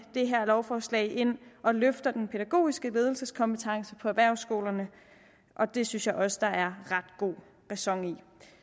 det her lovforslag ind og løfter den pædagogiske ledelseskompetence på erhvervsskolerne og det synes jeg også der er ret god ræson i